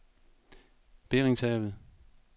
Beringshavet